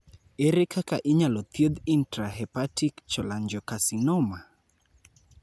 Ere kaka inyalo thiedh intrahepatic cholangiocarcinoma?